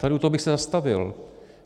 Tady u toho bych se zastavil.